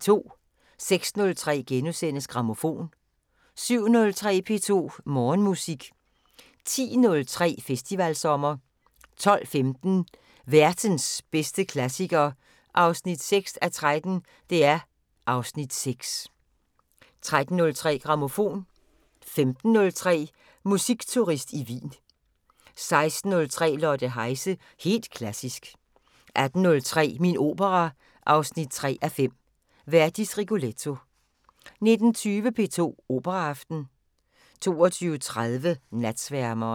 06:03: Grammofon * 07:03: P2 Morgenmusik 10:03: Festivalsommer 12:15: Værtens bedste klassiker 6:13 (Afs. 6) 13:03: Grammofon 15:03: Musikturist i Wien 16:03: Lotte Heise – helt klassisk 18:03: Min opera 3:5 – Verdis Rigoletto 19:20: P2 Operaaften 22:30: Natsværmeren